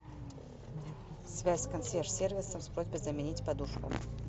связь с консьерж сервисом с просьбой заменить подушку